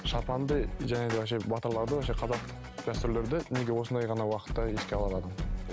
шапанды жаңағыдай вообще батырларды вообще қазақ дәстүрлерді неге осындай ғана уақытта еске ала алады